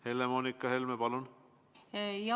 Helle-Moonika Helme, palun!